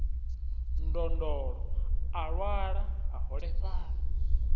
ndondolo a lwala a holefhala